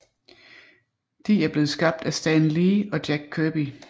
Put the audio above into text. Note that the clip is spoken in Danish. De er blevet skabt af Stan Lee og Jack Kirby